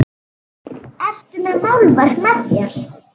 Ertu með málverk með þér?